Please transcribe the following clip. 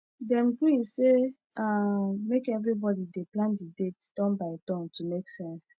dem gree say um make everybody dey plan d date turn by turn to make sense